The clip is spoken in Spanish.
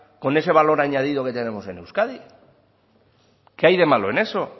con ese valor añadido que tenemos en euskadi qué hay de malo en eso